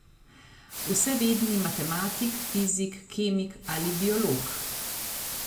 Vsevedni matematik, fizik, kemik ali biolog!